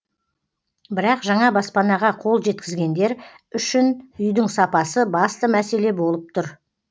бірақ жаңа баспанаға қол жеткізгендер үшін үйдің сапасы басты мәселе болып тұр